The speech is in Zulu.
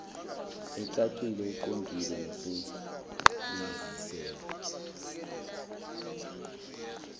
ecacile eqondile nesebenziseka